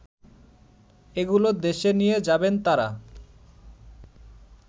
এগুলো দেশে নিয়ে যাবেন তাঁরা